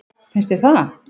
Finnst þér það?